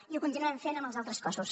i ho continuarem fent amb els altres cossos